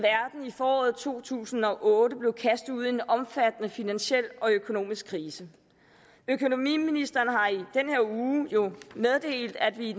i foråret to tusind og otte blev kastet ud i en omfattende finansiel og økonomisk krise økonomiministeren har i den her uge jo meddelt at vi i